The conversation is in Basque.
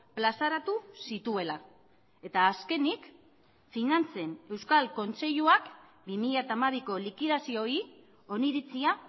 plazaratu zituela eta azkenik finantzen euskal kontseiluak bi mila hamabiko likidazioei oniritzia